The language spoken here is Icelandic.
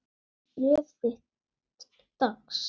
Ég fékk bréf þitt dags.